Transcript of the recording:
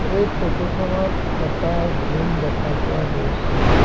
এই ফটোখনত এটা জিম দেখা পোৱা গৈছে।